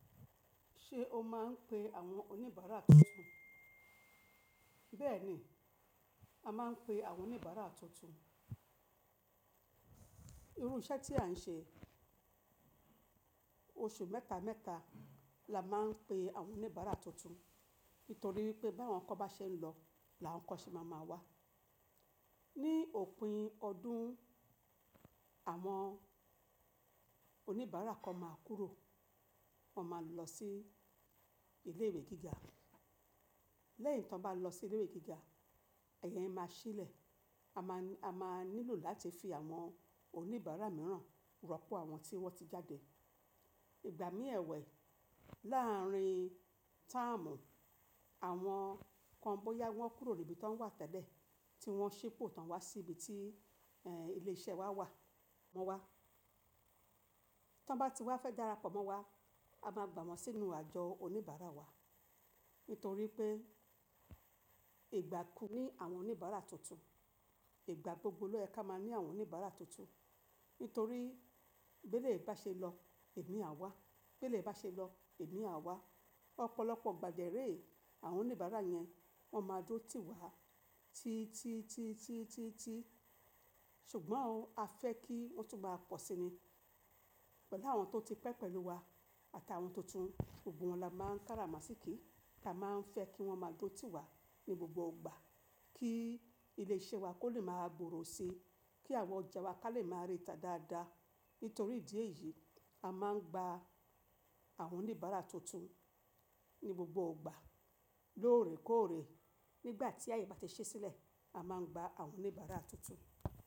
Ṣé o máa ń pe àwọn oníbàárà tuntun? Bẹ́ẹ̀ni, a máa ń pe àwọn oníbàárà tuntun. Irú iṣẹ́ tí à ń ṣe, oṣù mẹ́ta mẹ́ta la máa ń pe àwọn oníbàárà tuntun. Nítorí wipé báwọn kan bá ṣe ń lọ, làwọn kan ṣe máa máa wá. Ni òpin ọdún, àwọn oníbàárà kan máa kúrò, wọ́n máa lọ sí ilé ìwé gíga. Ni òpin ọdún, àwọn oníbàárà kan máa kúrò, wọ́n máa lọ sí ilé ìwé gíga. A máa, a máa nílò láti fi àwọn oníbàárà mìíràn rọ́pò àwọn tí wọ́n ti jáde. Ìgbà mí ẹwẹ̀ láàárin táàmù, àwọn kan bóyá wọ́n kúrò níbi tó wọ́n wà tẹ́lẹ̀, tí wọ́n ṣípò tán wá sí ibi tí, è, ilé-iṣẹ́ wa wà wọ́n wá. Ti wọ́n bá ti wá fẹ́ darapọ̀ mọ́ wa, a máa gbà wọ́n sínú àjọ oníbàárà wa. Nítorí pé, ìgbà ku ní àwọn oníbàárà tuntun, ìgbà gbogbo lọ yẹ ka máa ní àwọn oníbàárà tuntun. Nítorí bí eleyii ba ṣe lọ, imi á wá. Bí elyii bá ṣe lọ, imi á wá. Ọ̀pọ̀lọpọ̀ ìgbà dẹ́rè, àwọn oníbàárà yẹn wọ́n máa duro ti wá tí, tí, tí, tí, tí, tí. Ṣùgbọ́n o a fẹ́ kí wọ́n tún maa pọ̀ sí ni. Pẹ̀lú àwọn tó ti pẹ́ pẹ̀lú wa àtà àwọn tuntun, gbogbo wọn la máa ń káràmàsíkí. Kí a máa ń fẹ́ kí wọ́n máa duró tì wá ní gbogbo ìgbà. Kí ilé-iṣẹ́ wa kó lè má gbòòrò sí, kí àwọn ọ̀ja wa ká lè má rita dáadáa. Nítorí ìdí èyí, a máa ń gbá àwọn oníbàárà tuntun ní gbogbo ìgbà, lóòrè kó òòrè. Nígbà tí aye bá ti sílẹ̀, a máa ń gbá àwọn oníbàárà tuntun.